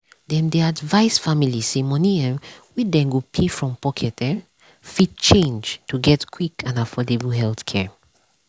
dem dey advise families say money um wey dem go pay from pocket um fit change to get quick and affordable healthcare.